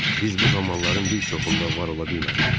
Biz bu zamanların bir çoxunda var ola bilmərik.